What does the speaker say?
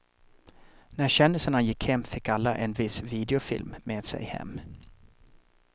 När kändisarna gick hem fick alla en viss videofilm med sig hem.